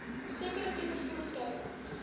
sekere tipe voertuie